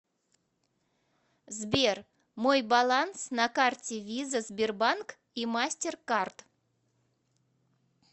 сбер мой баланс на карте виза сбербанк и мастеркард